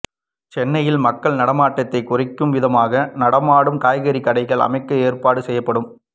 சென்னையில் மக்கள் நடமாட்டத்தைக் குறைக்கும் விதமாக நடமாடும் காய்கறிக் கடைகள் அமைக்க ஏற்பாடு செய்யப்படும்